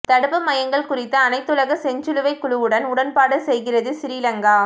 தடுப்பு மையங்கள் குறித்து அனைத்துலக செஞ்சிலுவைக் குழுவுடன் உடன்பாடு செய்கிறது சிறிலங்கா